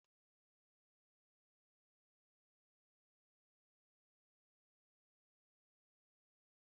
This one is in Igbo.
Ná nnọkọ ezinụlọ, nwanne papa m nke nwoke ji akụkọ ndị dị ogologo na-adọrọ mmasị anyị.